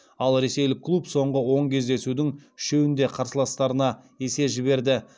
ал ресейлік клуб соңғы он кездесудің үшеуінде қарсыластарына есе жіберді